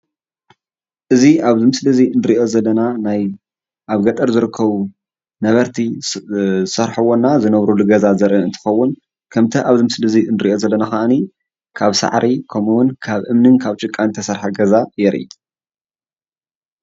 እዚ ኣብዚ ምስሊ እንርኦ ዘለና ኣብ ገጠር ዝርከቡ ነበርቲ ዝሰርሕዎን ዝነብርሉን ካብ ሳዕሪን እምንን ጭቃን ዝተሰረሓ ገዛ የርኢ።